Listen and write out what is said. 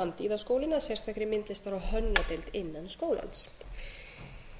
að sérstakri myndlistar og hönnunardeild innan skólans